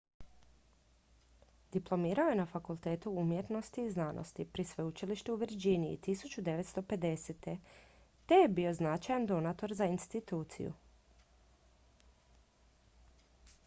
diplomirao je na fakultetu umjetnosti i znanosti pri sveučilištu u virginiji 1950. te je bio značajan donator za instituciju